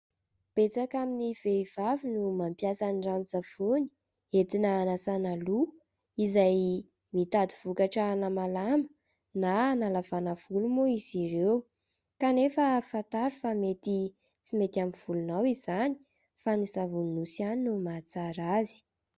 Betsaka amin'ny vehivavy no mampiasa ny ranon-tsavony entina hanasana loha izay mitady vokatra hanamalama na hanalavana volo moa izy ireo ; kanefa fantaro fa mety tsy mety amin'ny volonao izany fa ny savony nosy ihany no mahatsara azy.